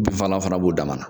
Bin fagala fana b'u dama na.